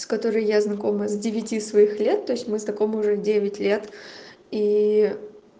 с которой я знакома с девяти своих лет то есть мы знакомы уже девять лет и